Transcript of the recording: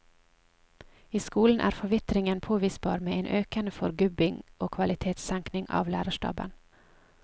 I skolen er forvitringen påvisbar med en økende forgubbing og kvalitetssenkning av lærerstaben.